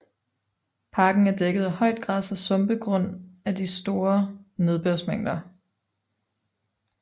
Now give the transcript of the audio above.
Parken er dækket af højt græs og sumpe grund af store nedbørsmængder